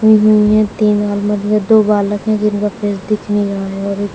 हुई है तीन हारमोनिया दो बालक है जिनका फेस दिख नहीं रहा है और एक--